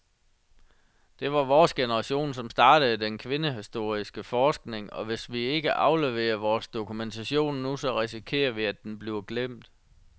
Det var vores generation, som startede den kvindehistoriske forskning, og hvis ikke vi afleverer vores dokumentation nu, så risikerer vi, at den bliver glemt.